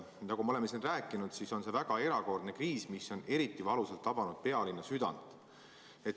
Nagu me oleme siin rääkinud, on see väga erakordne kriis, mis on eriti valusalt tabanud pealinna südant.